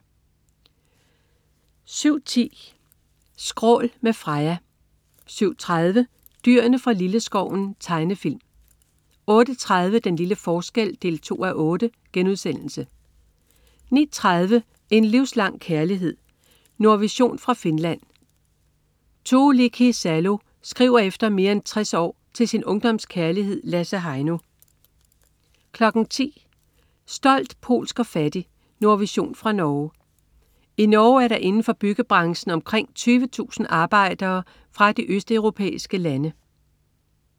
07.10 Skrål. Med Freja 07.30 Dyrene fra Lilleskoven. Tegnefilm 08.30 Den lille forskel 2:8* 09.30 En livslang kærlighed. Nordvision fra Finland. Tuulikki Salo skriver efter mere end 60 år til sin ungdomskærlighed Lasse Heino 10.00 Stolt, polsk og fattig. Nordvision fra Norge. I Norge er der inden for byggebranchen omkring 20.000 arbejdere fra de østeuropæiske lande